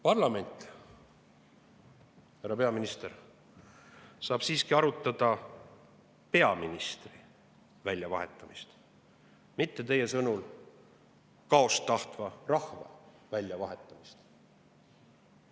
Parlament, härra peaminister, saab siiski arutada peaministri väljavahetamist, mitte teie sõnul kaost tahtva rahva väljavahetamist.